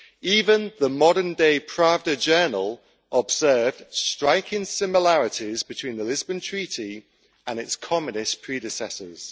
Even the modern day journal observed striking similarities between the Lisbon Treaty and its communist predecessors.